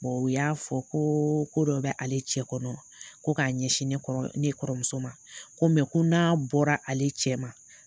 U y'a fɔ ko ko dɔ b'ale cɛ kɔnɔ ko k'a ɲɛsin nekɔrɔmuso ma, ko ko n'a bɔra ale cɛ ma